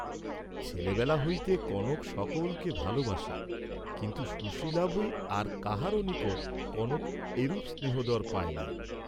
ছেলেবেলা হইতে কনক সকলকে ভালবাসে, কিন্তু সুশীলা বই আর কাহারো নিকট কনক এরূপ স্নেহাদর পায় নাই।